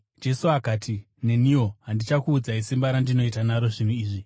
Jesu akati, “Neniwo handichakuudzai simba randinoita naro zvinhu izvi.”